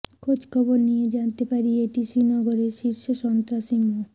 খোজখবর নিয়ে জানতে পারি এটি শ্রীনগরের শীর্ষ সন্ত্রাসী মো